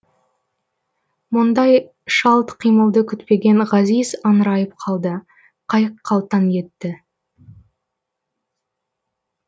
мұндай шалт қимылды күтпеген ғазиз аңырайып қалды қайық қалтаң етті